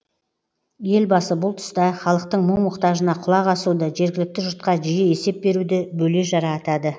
елбасы бұл тұста халықтың мұң мұқтажына құлақ асуды жергілікті жұртқа жиі есеп беруді бөле жара атады